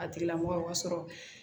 A tigila mɔgɔ sɔrɔ